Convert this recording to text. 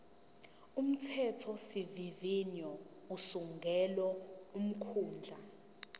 umthethosivivinyo usungula umkhandlu